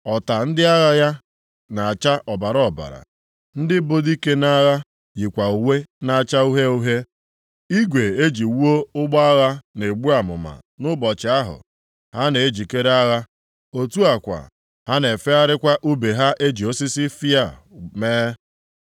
Ọta ndị agha ya na-acha ọbara ọbara, ndị bụ dike nʼagha yikwa uwe na-acha uhie uhie. Igwe e ji wuo ụgbọ agha na-egbu amụma nʼụbọchị ahụ ha na-ejikere agha, otu a kwa, ha na-efegharịkwa ùbe ha eji osisi fịa mee.